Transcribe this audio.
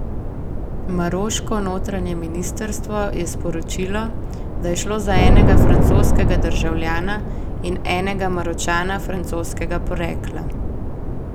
Maroško notranje ministrstvo je sporočilo, da je šlo za enega francoskega državljana in enega Maročana francoskega porekla.